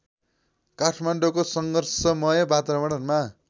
काठमाडौँको सङ्घर्षमय वातावरणमा